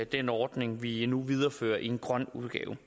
den ordning vi nu viderefører i en grøn udgave